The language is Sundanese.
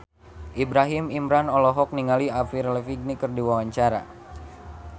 Ibrahim Imran olohok ningali Avril Lavigne keur diwawancara